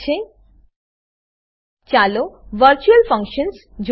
ચાલો virtual functions virtual functions જોઈએ